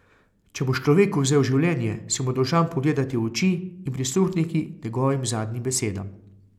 Če boš človeku vzel življenje, si mu dolžan pogledati v oči in prisluhniti njegovim zadnjim besedam.